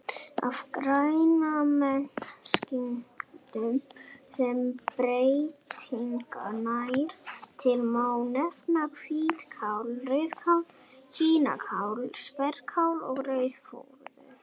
Af grænmetistegundum sem breytingin nær til má nefna hvítkál, rauðkál, kínakál, spergilkál og rauðrófur.